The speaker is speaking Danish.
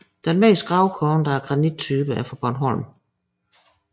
Den mest grovkornede af granittyperne fra Bornholm